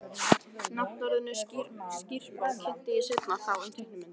Nafnorðinu skrípó kynntist ég seinna og þá um teiknimyndir.